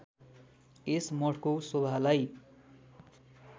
यस मठको शोभालाई